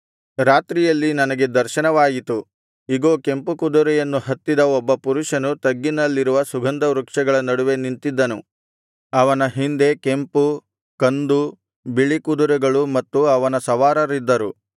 ರಾತ್ರಿಯಲ್ಲಿ ನನಗೆ ದರ್ಶನವಾಯಿತು ಇಗೋ ಕೆಂಪು ಕುದುರೆಯನ್ನು ಹತ್ತಿದ ಒಬ್ಬ ಪುರುಷನು ತಗ್ಗಿನಲ್ಲಿರುವ ಸುಗಂಧವೃಕ್ಷಗಳ ನಡುವೆ ನಿಂತಿದ್ದನು ಅವನ ಹಿಂದೆ ಕೆಂಪು ಕಂದು ಬಿಳಿ ಕುದುರೆಗಳು ಮತ್ತು ಅವರ ಸವಾರರಿದ್ದರು